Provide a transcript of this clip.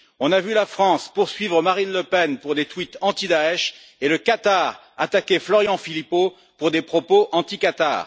On a vu la France poursuivre Marine Le Pen pour des tweets anti Daech et le Qatar attaquer Florian Philippot, pour des propos anti Qatar.